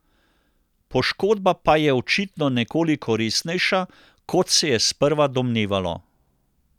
Poškodba pa je očitno nekoliko resnejša kot se je sprva domnevalo.